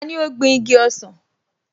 Tani ó gbin igi ọsàn?